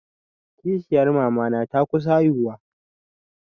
Kishiyar mamana ta kusa haihuwa.